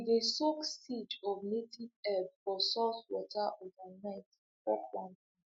we dey soak seeds of native herbs for salt water overnight before planting